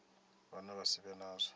vhane vha si vhe nazwo